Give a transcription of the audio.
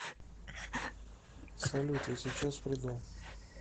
салют я сейчас приду